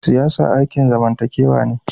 Siyasa aikin zamantakewa ne.